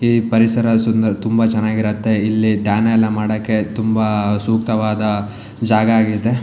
ಈ ಪರಿಸರ ಸುಂದರ ತುಂಬಾ ಚನ್ನಾಗಿರುತ್ತೆ ಇಲ್ಲಿ ಧ್ಯಾನ ಎಲ್ಲಾ ಮಾಡಕ್ಕೆ ತುಂಬಾ ಸೂಕ್ತವಾದ ಜಾಗ ಆಗಿದೆ.